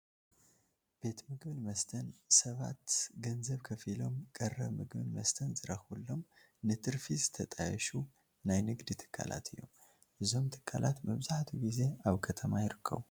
ቤት ምግብን መስተን ሰባት ገንዘብ ከፊሎም ቀረብ ምግብን መስተን ዝረኽቡሎም ንትርፊ ዝተጣየሹ ናይ ንግዲ ትካላት እዮም፡፡ እዞም ትካላት መብዛሕትኡ ግዜ ኣብ ከተማ ይርከቡ፡፡